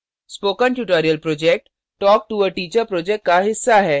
spoken tutorial project talktoa teacher project का हिस्सा है